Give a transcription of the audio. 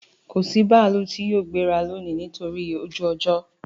Kò sí bààlù tì yóò gbẹ̀rà lónì nítorí ojú-ọ̀jọ